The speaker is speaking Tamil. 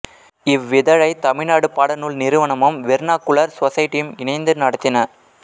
இவ்விதழை தமிழ்நாடு பாடநூல் நிறுவனமும் வெர்னாக்குலர் சொசைட்டியும் இணைந்து நடத்தின